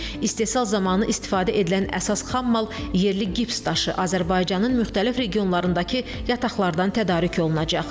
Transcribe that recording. İstehsal zamanı istifadə edilən əsas xammal yerli gips daşı Azərbaycanın müxtəlif regionlarındakı yataqlardan tədarük olunacaq.